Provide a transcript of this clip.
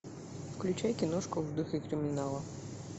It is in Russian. включай киношку в духе криминала